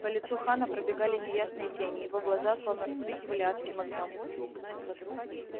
по лицу хана пробегали неясные тени его глаза словно вспыхивали адским огнём